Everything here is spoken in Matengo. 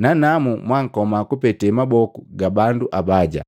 nanamu mwankoma kupete maboku ga bandu abaja.